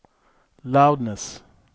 loudness